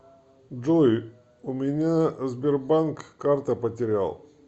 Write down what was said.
джой у меня сбербанк карта потерял